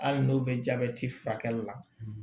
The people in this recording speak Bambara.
Hali n'o bɛ jabɛti furakɛli la